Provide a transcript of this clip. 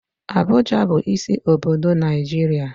Abuja bu isi obodo Naijiria